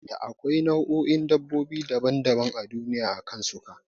Da akwai nau'o'in dabbobi daban daban a duniya akan suka